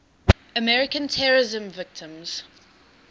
american terrorism victims